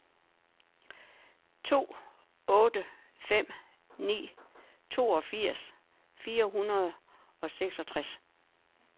to otte fem ni toogfirs fire hundrede og seksogtres